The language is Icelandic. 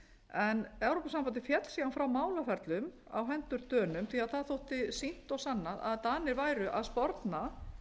en evrópusambandið féll síðan frá málaferlum á hendur dönum því það þótti sýnt og sannað að danir væru að sporna